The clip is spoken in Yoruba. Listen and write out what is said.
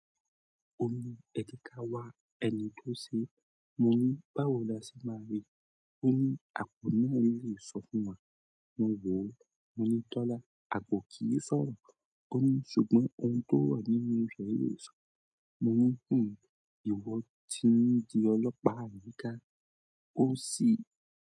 Ó ní, "Ẹ jẹ ká wá ẹni tó sè é." Mo ní, "Báwo la ṣe máa rí i?" Ó ní, "Àpò náà lè sọ fún wa." Mo wò ó. Mo ní, "Tọ́lá, àpò kì í sọ̀rọ̀." Ó ní, "Ṣùgbọ́n ohun tó wà nínú rẹ̀ yóò sọ." Mo ní, "Fún mi, ìwọ tìn dí ọlọ́pàá ní ká." Ó sì.